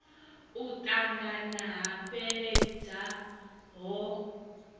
u ṱangana ha fheleledza ho